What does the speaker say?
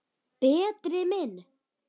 Berti minn.